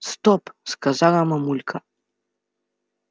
стоп сказала мамулька